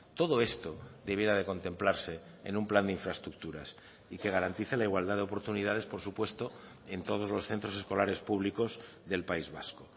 todo esto debiera de contemplarse en un plan de infraestructuras y que garantice la igualdad de oportunidades por supuesto en todos los centros escolares públicos del país vasco